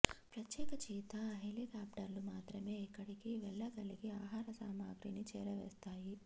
ప్రత్యేక చీతా హెలికాప్టర్లు మాత్రమే ఇక్కడికి వెళ్లగలిగి ఆహార సామాగ్రిని చేరవేస్తాయి